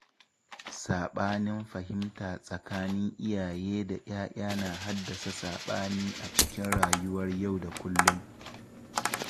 Saɓanin fahimta tsakanin iyaye da 'ya'ya na haddasa saɓani a cikin rayuwar yau da kullum.